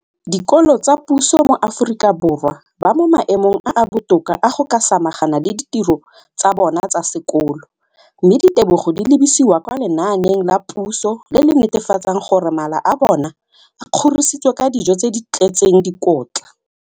Dikolo tsa puso mo Aforika Borwa ba mo maemong a a botoka a go ka samagana le ditiro tsa bona tsa sekolo, mme ditebogo di lebisiwa kwa lenaaneng la puso le le netefatsang gore mala a bona a kgorisitswe ka dijo tse di tletseng dikotla.